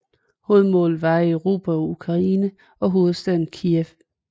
Hovedmålet var at erobre Ukraine og hovedstaden Kijev